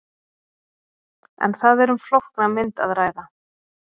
En það er um flókna mynd að ræða.